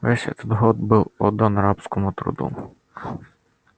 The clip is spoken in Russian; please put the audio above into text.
весь этот год был отдан рабскому труду